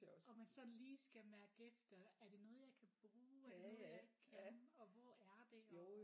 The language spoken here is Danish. Og man sådan lige skal mærke efter er det noget jeg kan bruge er det noget jeg kan og hvor er det og